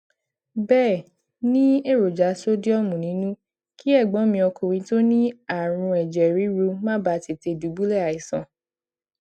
béè ní èròjà sodiọmu nínú kí ègbón mi ọkùnrin tó ní àrùn èjè ríru má bàa tètè dubulẹ aisan